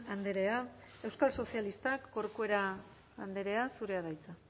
andrea euskal sozialistak corcuera andrea zurea da hitza